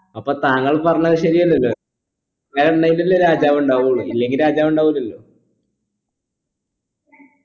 അപ്പൊ താങ്കൾ പറഞ്ഞത് ശരിയല്ലല്ലോ ഇണ്ടായിട്ടല്ലേ രാജാവ് ഉണ്ടാകുകയുള്ളൂ ഇല്ലെങ്കി രാജാവ് ഉണ്ടാവൂല്ലല്ലോ